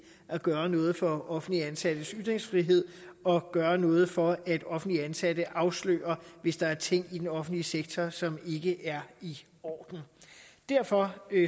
at gøre noget for offentligt ansattes ytringsfrihed og gøre noget for at offentligt ansatte afslører hvis der er ting i den offentlige sektor som ikke er i orden derfor